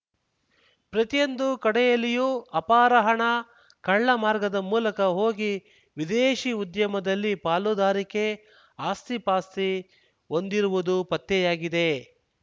ಪ್ರತಿಯೊಂದು ಕಡೆಯಲ್ಲಿಯೂ ಅಪಾರ ಹಣ ಕಳ್ಳ ಮಾರ್ಗದ ಮೂಲಕ ಹೋಗಿ ವಿದೇಶಿ ಉದ್ಯಮದಲ್ಲಿ ಪಾಲುದಾರಿಕೆ ಆಸ್ತಿಪಾಸ್ತಿ ಹೊಂದಿರುವುದು ಪತ್ತೆಯಾಗಿದೆ